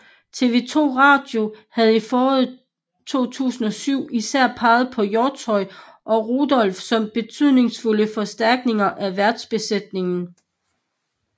TV 2 Radio havde i foråret 2007 især peget på Hjortshøj og Rudolph som betydningsfulde forstærkninger af værtsbesætningen